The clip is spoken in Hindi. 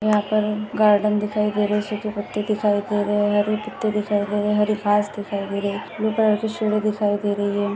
यहाँ पर गार्डेन दिखाई दे रहा है छोटे पत्ते दिखाई दे रहे है और हरे पत्ते दिखाई दे रहे है हरी घास दिखाई दे रही ब्लू कलर की सीढ़ी दिखाई दे रही है।